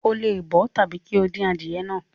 O le bọ ọ tabi ki o dín adìye náà.